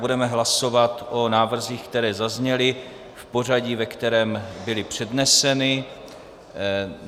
Budeme hlasovat o návrzích, které zazněly, v pořadí, ve kterém byly předneseny.